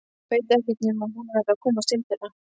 Veit ekkert nema að hún verður að komast til þeirra.